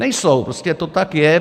Nejsou, prostě to tak je.